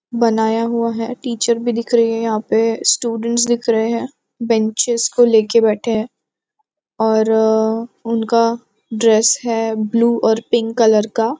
बनाया हुआ है टीचर भी दिख रहे हैं यहाँ पे स्टूडेंट्स दिख रहे हैं बेन्चेस को लेके बैठे हैं और उनका ड्रेस है ब्लू और पिंक कलर का।